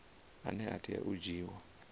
ane a tea u dzhiiwa